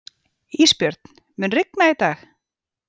Ísbjörn, mun rigna í dag?